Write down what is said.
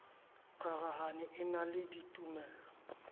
rarahane e na le ditumelo